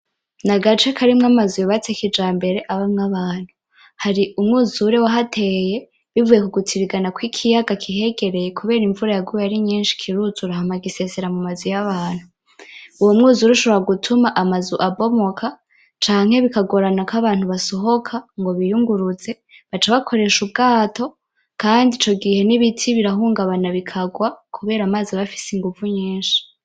Nagace karimwo amazu yubatse kijambere abamwo abantu. Hari umwuzura wahateye, bivanye kugutirigana kwikiyaga kihegereye kubera imvura yaguye ari nyinshi kiruzura hama gisesera mu mazu yabantu. Uwo mwuzura ushobora gutuma amazu abomoka canke bikagorana ko abantu basohoka ngo biyunguruze, baca bakoresha ubwato. Kandi ico gihe nibiti birahungabana bikagwa, kubera amazi abafise inguvu nyinshi.